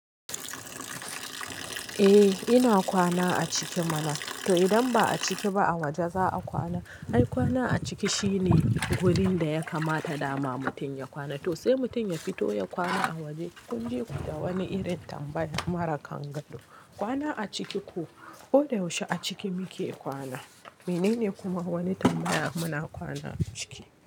Eh ina kwana a ciki mana, to idan ba a ciki ba a waje za a kwana? Ai kwana a ciki shine wurin da ya kamata dama mutum ya kwana. To sai mutum ya fito ya kwana a waje kun jiku da wani irin tambaya mara kangado. Kwana a ciki ko, ko da yaushe a ciki muke kwana. Menene kuma wani tambaya muna kwana a ciki?